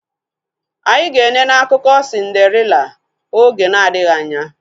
Anyị ga enene akụkọ sindarela oge na adịghị anya